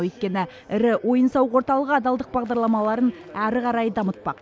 өйткені ірі ойын сауық орталығы адалдық бағдарламаларын ары қарай дамытпақ